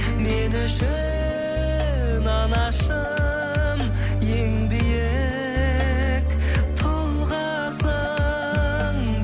мен үшін анашым ең биік тұлғасың